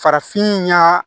Farafin ɲa